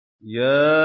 ۞ يَا